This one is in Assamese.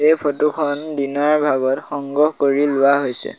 এই ফটো খন দিনৰ ভাগত সংগ্ৰহ কৰি লোৱা হৈছে।